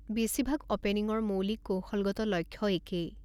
বেছিভাগ অ'পেনিংৰ মৌলিক কৌশলগত লক্ষ্য একেই